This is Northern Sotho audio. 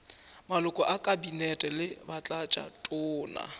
maloko a kabinete le batlatšatona